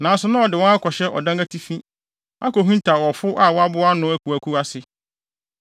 (Nanso, na ɔde wɔn akɔhyɛ ɔdan atifi, akohintaw ɔfo a waboa ano akuwakuw ase.)